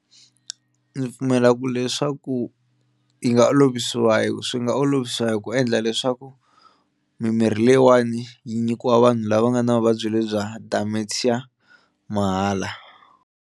Ndzi pfumela ku leswaku yi nga olovisiwa hi swi nga olovisa hi ku endla leswaku mimirhi leyiwani yi nyikiwa vanhu lava nga na vuvabyi lebyi bya dementia mahala.